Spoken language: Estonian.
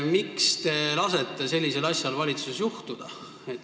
Miks te lasete sellisel asjal valitsuses juhtuda?